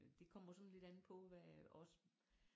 Det kommer sådan lidt an på hvad også